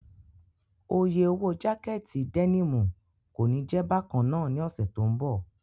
Oye owó jákẹ̀tì dẹ́nìmù kòní jẹ̀ bákannáà ní ọ̀sẹ̀ tó ń bọ̀.